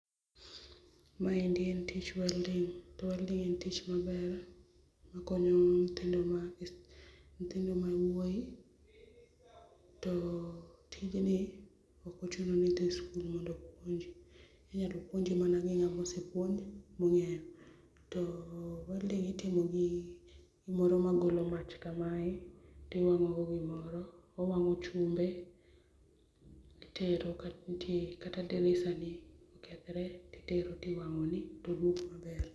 Maendi en tich welding to welding [cs[ en tich maber makonyo nyithindo ma wuoyi to tijni ok ochuno ni idhi skul mondo puonji, inyalo puonji mana gi ng'ama osee puonj mong'eyo to welding itimo gi gimoro magolo mach kamae tiwang'ogo gimoro, owang'o chumbe titero kata dirisani kokethre titero tiwang'oni to wuok maber. Maendi en tich welding cs] to welding [cs[ en tich maber makonyo nyithindo ma, nyithindo ma wuoyi to tijni ok ochuno ni idhi skul mondo puonji, inyalo puonji mana gi ng'ama osee puonj mong'eyo .To welding itimo gi gimoro magolo mach kamae tiwang'o go gimoro, owang'o chumbe titero kata dirisani kokethre titero tiwang'oni to wuok maber.